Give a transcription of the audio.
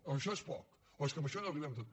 o això és poc o és que amb això no arribem a tot